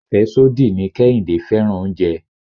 Afesodi ni Kehinde fẹ́ràn oúnjẹ.